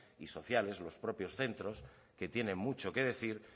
y sociales los propios centros que tienen mucho que decir